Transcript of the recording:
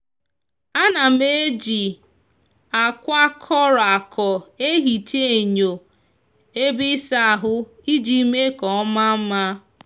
a na m eji akwa coro aco ehicha enyo ebe isa ahu iji me ka oma nma.